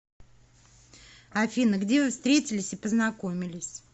афина где вы встретились и познакомились